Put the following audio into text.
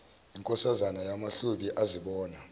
inkosazana yamahlubi azibona